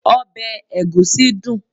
obe egusi dun